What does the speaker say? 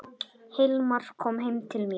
Hilmar kom heim til mín.